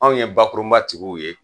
Anw ye bakurunba tigiw ye